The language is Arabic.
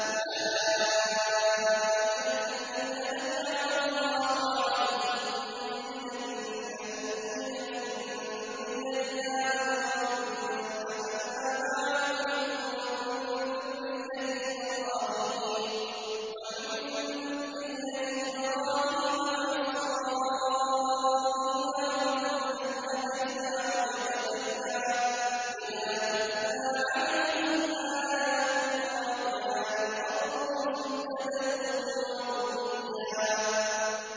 أُولَٰئِكَ الَّذِينَ أَنْعَمَ اللَّهُ عَلَيْهِم مِّنَ النَّبِيِّينَ مِن ذُرِّيَّةِ آدَمَ وَمِمَّنْ حَمَلْنَا مَعَ نُوحٍ وَمِن ذُرِّيَّةِ إِبْرَاهِيمَ وَإِسْرَائِيلَ وَمِمَّنْ هَدَيْنَا وَاجْتَبَيْنَا ۚ إِذَا تُتْلَىٰ عَلَيْهِمْ آيَاتُ الرَّحْمَٰنِ خَرُّوا سُجَّدًا وَبُكِيًّا ۩